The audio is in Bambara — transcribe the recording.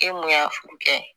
E mun y'a furu kɛ